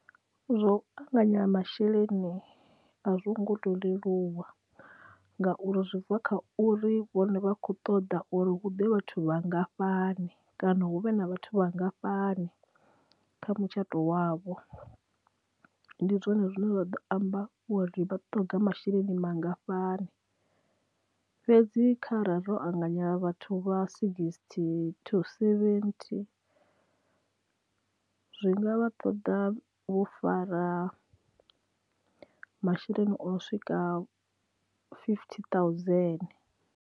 Zwo anganyela masheleni a zwo ngo to leluwa ngauri zwi bva kha uri vhone vha kho ṱoḓa uri hu ḓe vhathu vhangafhani kana hu vhe na vhathu vhangafhani kha mutshato wavho ndi zwone zwine zwa ḓo amba wa ri vha tonga masheleni mangafhani fhedzi kha ra ro anganyela vhathu vha sixty to seventy zwi nga vha ṱoḓa vho fara masheleni o swika fifty thousand.